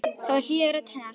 Það var hlýja í rödd hennar.